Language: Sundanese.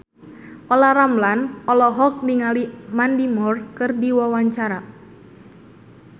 Olla Ramlan olohok ningali Mandy Moore keur diwawancara